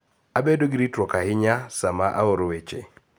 Abedo gi ritruok ahinya sama aoro weche